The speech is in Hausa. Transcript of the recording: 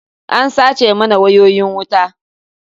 An sace mana wayoyin wuta.